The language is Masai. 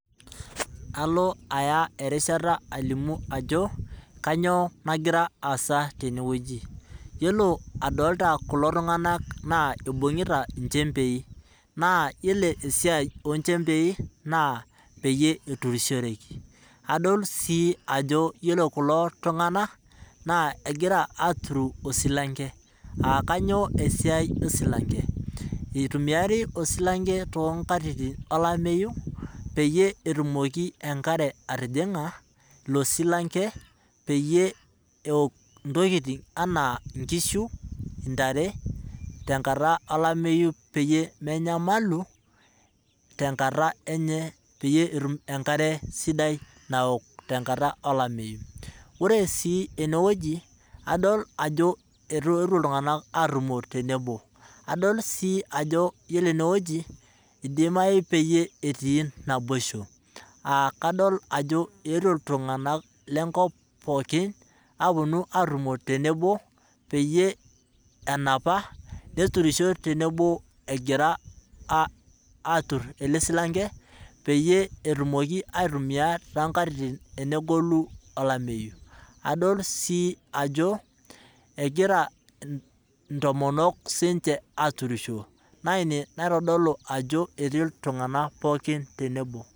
Kalo aya erishata alimu ajo kainyoo nagira aasa teneweji, ore adolita kulo tunganak naa eibungita nchempei naa yiolo esiai onchempei naa peyie eturishoreki ,adol sii ajo ore kulo tunganak naa egira aturu osilanke ,aakainyoo esiai osilanke ,eitumiari osilanke toonkatitin olameyu peyie etumoki enkare atijinga ilo silanke peyie eok intokiting anaa nkishu ,ntare tenkata olameyu peyie menayamalu peyie etum enkare sidai naok tenkata olameyu .ore sii eneweji adol ajo eetuo ltunganak atumo tenebo ore sii eneweji eidimayu peyie etii naboisho .kadol ajo eetuo ltunganak lenkop pookin aponu atumo tenebo peyie enapata neturisho tenebo egira atur ele silanke peyie etumoki aitumiyia toonkatitin tenegolu olameyu .adol sii ajo egira siininche ntomonok aaturisho naa ina naitodolu ajo etii ltunganak pookin tenebo.